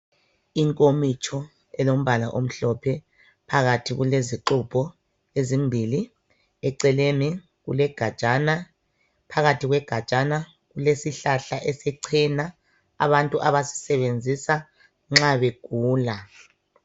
Inkomitsho elombala omhlophe phakathi kulezixubho ezimbili , eceleni kule gajana phakathi kwegajana kulesihlahla sechena abantu abasisebenzisa nxa begula.